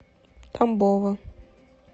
тамбова